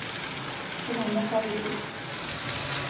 shomo amuu kaipot